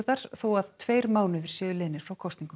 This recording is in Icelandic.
þar þó að tveir mánuðir séu liðnir frá kosningum